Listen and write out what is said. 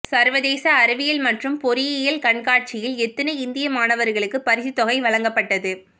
சர்வதேச அறிவியல் மற்றும் பொறியியல் கண்காட்சியில் எத்தனை இந்திய மாணவர்களுக்கு பரிசு தொகை வழங்கப்பட்டது